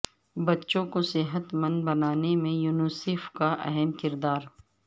بچوں کو صحت مند بنانے میں یونیسیف کا اہم کردار